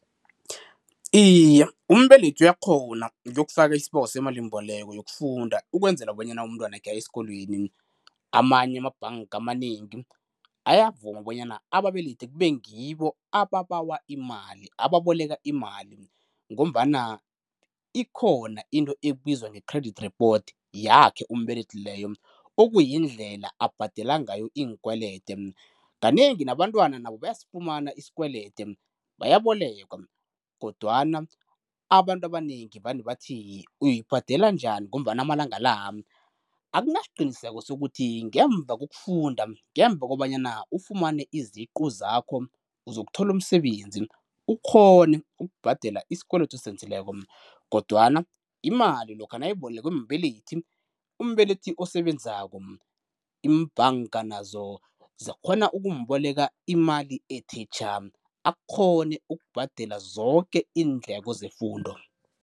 Iye, umbelethi uyakghona ukuyokufaka isibawo semalimboleko yokufunda ukwenzela bona umntwana wakhe aye eskolweni. Amanye amabhanka amanengi ayavuma bonyana ababelethi kube ngibo ababawa imali, ababoleka imali ngombana ikhona into ebizwa nge-credit report yakhe umbelethi leyo, okuyindlela abhadela ngayo inkwelede. Kanengi nabantwana nabo bayasifumana isikwelede, bayabolekwa kodwana abantu abanengi vane bathi uyoyibhadela njani ngombana amalanga la akunasiqiniseko sokuthi ngemva kokufunda, ngemva kobanyana ufumane iziqu zakho uzokuthola umsebenzi, ukghone ukubhadela isikwelede osenzileko, kodwama imali lokha nayibolekwe mbelethi, umbelethi osebenzako imbhanka nazo zikghona ukumboleka imali ethe tjha, akghone ukubhadela zoke iindleko zefundo.